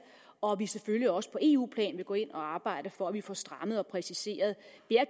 og at vi selvfølgelig også på eu plan vil gå ind og arbejde for at vi får strammet og præciseret